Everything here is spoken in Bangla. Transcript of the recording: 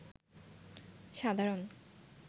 সাধারণ